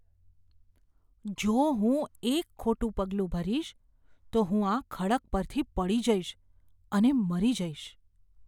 જો હું એક ખોટું પગલું ભરીશ, તો હું આ ખડક પરથી પડી જઈશ અને મરી જઈશ.